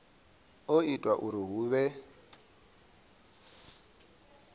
o ita uri hu vhe